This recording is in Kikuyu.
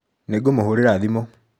Nĩngũmũhũrĩra thimũ.